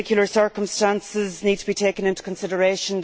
The particular circumstances need to be taken into consideration.